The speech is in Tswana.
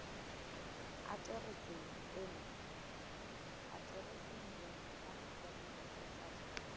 atereseng eno www sars gov